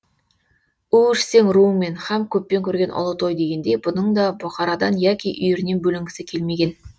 у ішсең руыңмен һәм көппен көрген ұлы той дегендей бұның да бұқарадан яки үйірінен бөлінгісі келмеген